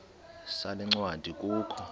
sale ncwadi kukho